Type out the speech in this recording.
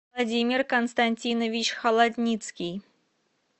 владимир константинович холодницкий